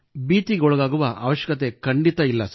ಭೀತಿಗೊಳಗಾಗುವ ಅವಶ್ಯಕತೆ ಖಂಡಿತ ಇಲ್ಲ